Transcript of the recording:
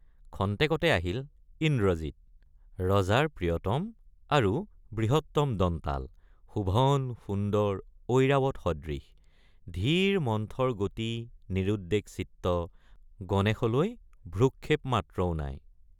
খন্তেকতে আহিল ইন্দ্ৰজিৎ—ৰজাৰ প্ৰিয়তম আৰু বৃহত্তম দন্তাল শোভনসুন্দৰ ঐৰাৱৎ সদৃশ—ধীৰ মন্থৰ গতি নিৰুদ্বেগ চিত্ত গণেশলৈ ভ্ৰূক্ষেপ মাত্ৰও নাই।